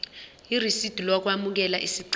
irisidi lokwamukela isicelo